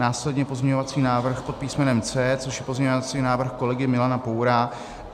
Následně pozměňovací návrh pod písmenem C, což je pozměňovací návrh kolegy Milana Poura.